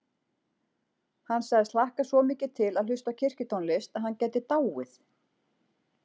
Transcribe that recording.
Hann sagðist hlakka svo mikið til að hlusta á kirkjutónlist að hann gæti dáið.